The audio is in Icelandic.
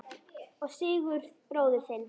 Og Sigurð bróður þinn!